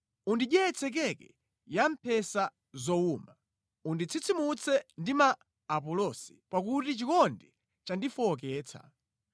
Undidyetse keke ya mphesa zowuma, unditsitsimutse ndi ma apulosi, pakuti chikondi chandifowoketsa.